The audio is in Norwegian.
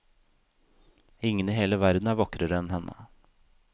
Ingen i hele verden er vakrere enn henne.